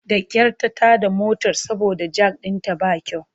Da kyar ta tada motar saboda jak ɗinta ba kyau.